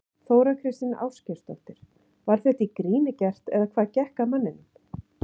Þóra Kristín Ásgeirsdóttir: Var þetta í gríni gert eða hvað gekk að manninum?